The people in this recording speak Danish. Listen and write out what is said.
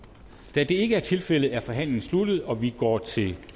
da det ikke er tilfældet er forhandlingen sluttet og vi går til